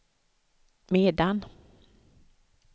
medan